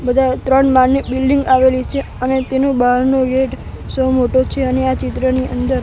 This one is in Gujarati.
બધા ત્રણ માળની બિલ્ડિંગ આવેલી છે અને તેનુ બારનો ગેટ સૌ મોટો છે અને આ ચિત્રની અંદર--